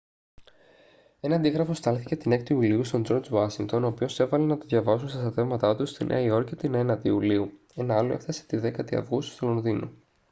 ένα αντίγραφο στάλθηκε την 6η ιουλίου στον τζορτζ ουάσιγκτον ο οποίος έβαλε να το διαβάσουν στα στρατεύματά του στη νέα υόρκη την 9η ιουλίου ένα άλλο έφτασε τη 10η αυγούστου στο λονδίνο